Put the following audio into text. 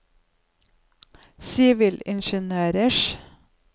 sivilingeniørers